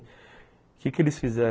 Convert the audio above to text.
O que que eles fizeram?